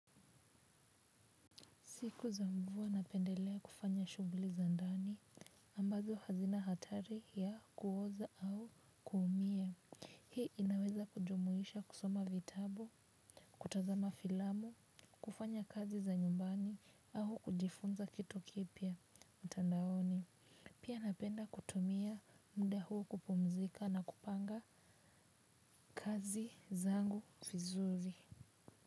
Siku za mvua napendeleya kufanya shughuli za ndani ambazo hazina hatari ya kuhoza au kuhumiya. Hii inaweza kujumuisha kusoma vitabu, kutazama filamu, kufanya kazi za nyumbani au kujifunza kitu kipia mtandaoni. Pia napenda kutumia mda huu kupumzika na kupanga kazi zangu vizuri.